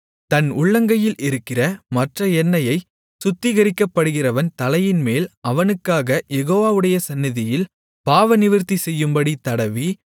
தன் உள்ளங்கையில் இருக்கிற மற்ற எண்ணெயைச் சுத்திகரிக்கப்படுகிறவன் தலையின்மேல் அவனுக்காகக் யெகோவாவுடைய சந்நிதியில் பாவநிவிர்த்தி செய்யும்படி தடவி